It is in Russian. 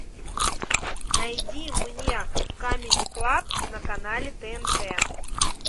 найди мне камеди клаб на канале тнт